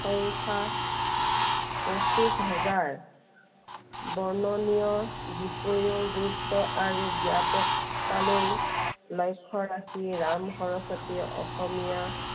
সংখ্য়া পঁচিশ হেজাৰ। বৰ্ণনীয়, বিষয়ৰ গুৰুত্ব আৰু ব্য়াপকতালৈ লক্ষ্য় ৰাখি ৰাম সৰস্বতীয়ে অসমীয়া